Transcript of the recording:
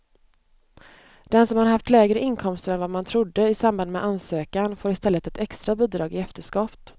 Den som har haft lägre inkomster än vad man trodde i samband med ansökan får i stället ett extra bidrag i efterskott.